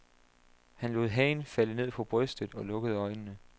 Han lod hagen falde ned på brystet og lukkede øjnene.